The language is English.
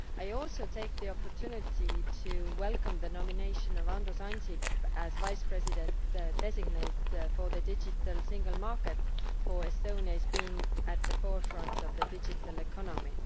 I also take the opportunity to welcome the nomination of Andrus Ansip as Vice President designate for the Digital Single Market, Estonia being at the forefront of the digital economy.